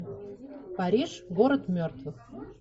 париж город мертвых